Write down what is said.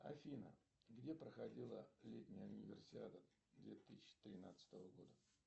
афина где проходила летняя универсиада две тысячи тринадцатого года